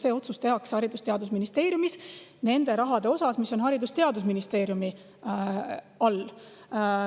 See otsus tehakse Haridus‑ ja Teadusministeeriumis selle raha kohta, mis on Haridus‑ ja Teadusministeeriumi all.